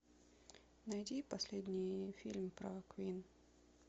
найди последний фильм про квин